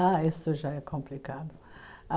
Ah, isso já é complicado.